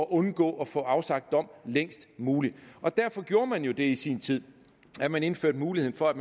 undgå at få afsagt dom længst muligt derfor gjorde man jo det i sin tid at man indførte mulighed for at